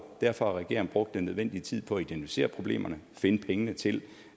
derfor har regeringen brugt den nødvendige tid på at identificere problemerne finde pengene til